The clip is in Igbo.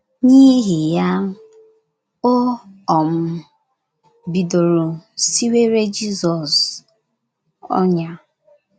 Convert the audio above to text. N’ihi ya, o um bidoro siwere Jizọs ọnyà.